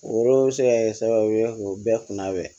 O yɔrɔ bɛ se ka kɛ sababu ye k'o bɛɛ kunnabɛn